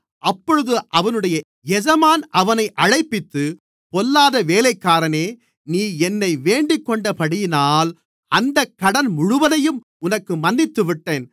அப்பொழுது அவனுடைய எஜமான் அவனை அழைப்பித்து பொல்லாத வேலைக்காரனே நீ என்னை வேண்டிக்கொண்டபடியினால் அந்தக் கடன் முழுவதையும் உனக்கு மன்னித்துவிட்டேன்